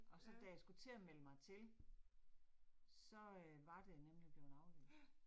Og så da jeg skulle til at melde mig til, så øh var det nemlig blevet aflyst